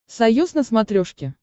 союз на смотрешке